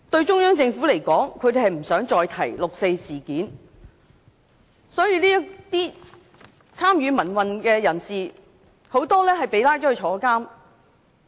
中央政府不想再提及六四事件，很多參與民運的人士都被捕入獄。